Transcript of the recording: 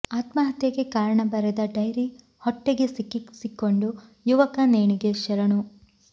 ಆತ್ಮಹತ್ಯೆಗೆ ಕಾರಣ ಬರೆದ ಡೈರಿ ಹೊಟ್ಟೆಗೆ ಸಿಕ್ಕಿಸಿಕೊಂಡು ಯುವಕ ನೇಣಿಗೆ ಶರಣು